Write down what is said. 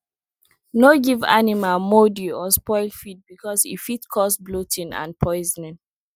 no give animal mouldy or spoiled feed because e fit cause bloating and poisoning